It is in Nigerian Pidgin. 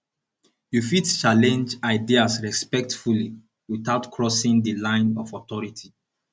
you fit challenge ideas respectfully without crossing di line of authority